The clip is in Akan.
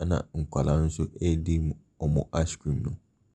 ɛna nkwadaa nso ɛdi wɔn ''ice cream'' no.